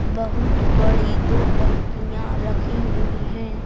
बहुत बड़ी दो टंकियां रखी हुई हैं।